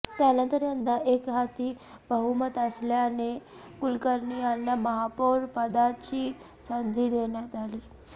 त्यानंतर यंदा एकहाती बहुमत असल्याने कुलकर्णी यांना महापौर पदाची ंसंधी देण्यात आली